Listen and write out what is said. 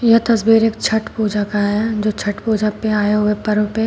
यह तस्वीर एक छठ पूजा का है जो छठ पूजा पे आए हुए पर्व पे--